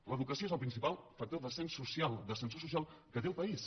l’educació és el principal factor d’ascens social d’ascensor social que té el país